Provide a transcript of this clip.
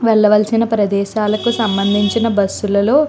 వెళ్ళవలసిన ప్రదేశాలకు సంబంధించిన బస్సు లలో --